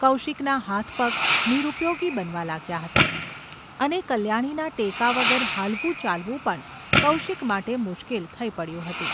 કૌશિકના હાથપગ નિરુપયોગી બનવા લાગ્યા હતા, અને કલ્યાણીના ટેકા વગર હાલવું — ચાલવું પણ કૌશિક માટે મુશ્કેલ થઈ ​ પડ્યું હતું.